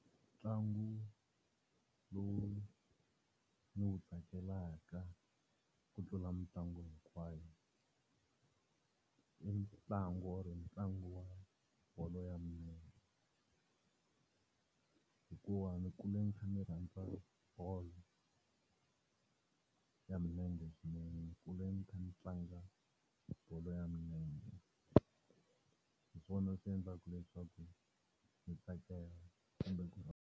Ntlangu lowu ni wu tsakelaka ku tlula mitlangu hinkwayo, i ntlangu or ntlangu wa bolo ya milenge hikuva ni kule ni kha ni rhandza bolo ya milenge swinene. Ni kule ni kha ni tlanga bolo ya milenge. Hi swona swi endlaka leswaku hi tsakela kumbe ku .